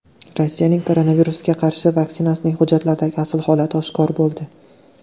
Rossiyaning koronavirusga qarshi vaksinasining hujjatlardagi asl holati oshkor bo‘ldi.